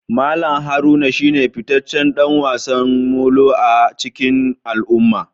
Mallam Haruna shine fitaccen dan wasan Molo a cikin al'umma